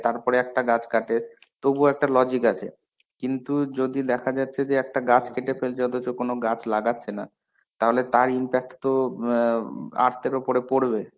তারপরে একটা গাছ কাটে, তবুও একটা logic আছে. কিন্তু যদি দেখা যাচ্ছে যে একটা গাছ কেটে ফেলছে অথচ কোনো গাছ লাগছে না, তাহলে তার impact তো ইম ব earth এর উপর পরবে.